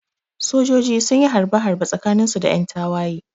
Sojoji sunyi harbe harbe tsakanin su da yan tawaye